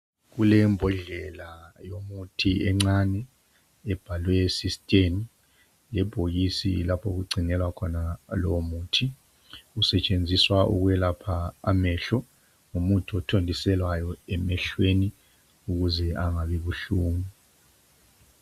Kulembodlela yomuthi encane ebhalwe systane . Lebhokisi lapho kugcinelwa khona lomuthi .Usetshenziswa ukwelapha amehlo .Ngumuthi othontiselwayo emehlweni ukuze angabi buhlungu .